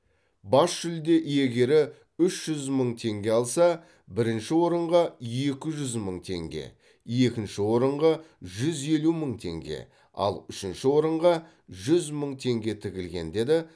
бас жүлде иегері үш жүз мың теңге алса бірінші орынға екі жүз мың теңге екінші орынға жүз елу мың теңге ал үшінші орынға жүз мың теңге тігілген деді